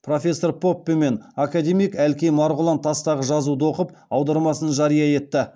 профессор поппе мен академик әлкей марғұлан тастағы жазуды оқып аудармасын жария етті